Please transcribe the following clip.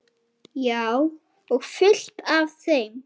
Já, og fullt af þeim.